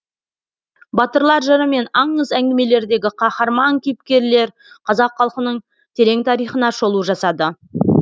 батырлар жыры мен аңыз әңгімелердегі қаһарман кейіпкерлер қазақ халқының терең тарихына шолу жасады